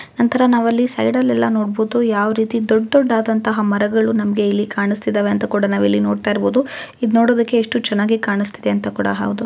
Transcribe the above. ನಂತರ ನಾವಲ್ಲಿ ಸೈಡ್ ಅಲ್ಲೆಲ್ಲ ನೋಡಬಹುದು ಯಾವ ರೀತಿ ದೊಡ್ಡ ದೊಡ್ಡದಾದಂತಹ ಮರಗಳು ನಮಗೇ ಇಲ್ಲಿ ಕಾಣಿಸ್ತಇದಾವೆ ಅಂತ ಕೂಡ ನೋಡ್ತಾ ಇರ್ಬೋದು. ಇದು ನೋಡೋದಿಕ್ಕೆ ಎಸ್ಟು ಚೆನ್ನಾಗಿ ಕಾಣಿಸ್ತಿದೆ ಅಂತ ಕೂಡ ಹೌದು.